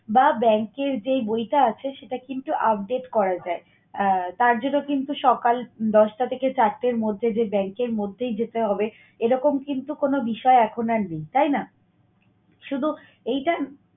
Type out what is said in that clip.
বা bank এর যেই বইটা আছে সেইটা কিন্তু update করা যায়। আহ তার জন্য কিন্তু সকাল দশটা থেকে চারটের মধ্যে যে bank এর মধ্যেই যেতে হবে এরকম কিন্তু কোন বিষয় এখন আর নেই, তাই না? শুধু এইটা